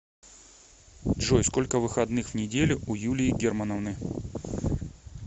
джой сколько выходных в неделю у юлии германовны